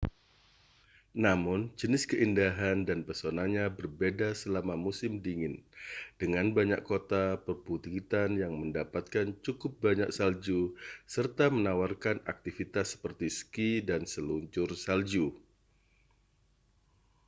namun jenis keindahan dan pesonanya berbeda selama musim dingin dengan banyak kota perbukitan yang mendapatkan cukup banyak salju serta menawarkan aktivitas seperti ski dan seluncur salju